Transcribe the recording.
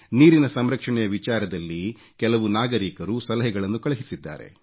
ನೀರಿನ ಸಂರಕ್ಷಣೆಯ ವಿಚಾರದಲ್ಲಿ ಕೆಲವು ನಾಗರೀಕರು ಸಲಹೆಗಳನ್ನು ಕಳುಹಿಸಿದ್ದಾರೆ